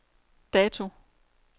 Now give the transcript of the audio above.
dato